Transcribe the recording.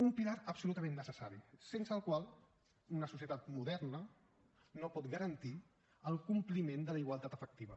un pilar absolutament necessari sense el qual una societat moderna no pot garantir el compliment de la igualtat efectiva